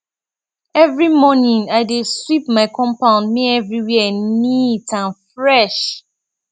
every morning i dey sweep my compound make everywhere neat and fresh